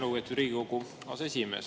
Lugupeetud Riigikogu aseesimees!